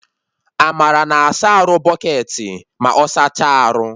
Amara na-asa arụ bụcketị ma ọ saachaa arụ